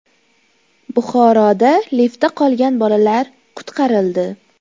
Buxoroda liftda qolgan bolalar qutqarildi.